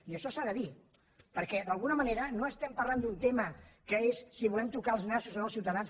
i això s’ha de dir perquè d’alguna manera no estem parlant d’un tema que és si volem tocar els nassos o no als ciutadans